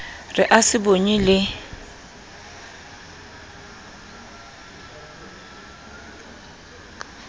re a se bonye le